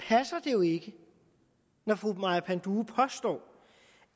jo ikke når fru maja panduro påstår